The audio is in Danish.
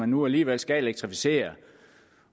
nu alligevel skal elektrificeres